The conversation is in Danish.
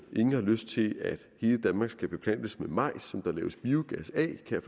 ingen har lyst til at hele danmark skal beplantes med majs som der laves biogas af kan